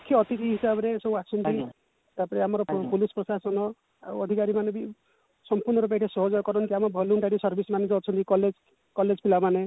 ମୁଖ୍ୟ ଅତିଥି ହିସାବ ରେ ସବୁ ଆସନ୍ତି ତାପରେ ଆମର police ପ୍ରଶାସନ ଆଉ ଅଧିକାରୀ ମାନେ ବି ସମ୍ପୂର୍ଣ ରୂପେ ଏଠି ସହଯୋଗ କରନ୍ତି ଆମର voluntary service ମାନେ ଯୋଉ ଅଛନ୍ତି college college ପିଲା ମାନେ